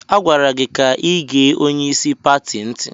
A gwara gị ka igee onyeisi pati ntị!